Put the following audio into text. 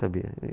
Sabia.